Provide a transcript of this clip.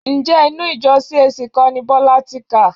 Ǹjẹ́ inú ìjọ CAC kọ́ ni Bọ́lá ti kà?